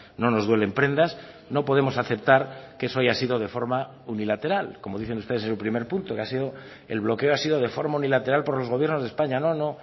no nos duelen prendas no podemos aceptar que eso haya sido de forma unilateral como dicen ustedes en su primer punto que ha sido el bloqueo ha sido de forma unilateral por los gobiernos de españa no no